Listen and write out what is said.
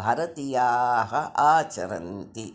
भारतीयाः आचरन्ति